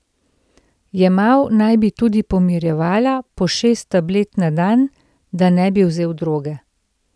Jemal naj bi tudi pomirjevala, po šest tablet na dan, da ne bi vzel droge.